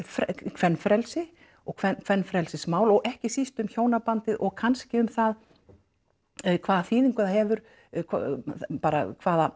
kvenfrelsi og kvenfrelsismál og ekki síst um hjónabandið og kannski um það hvaða þýðingu það hefur bara hvaða